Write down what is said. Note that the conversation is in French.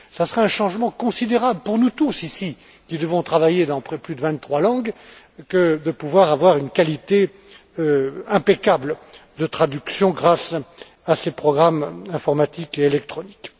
Cela sera un changement considérable pour nous tous, ici, qui devons travailler dans plus de vingt trois langues, que de pouvoir avoir une qualité de traduction impeccable grâce à ces programmes informatiques et électroniques.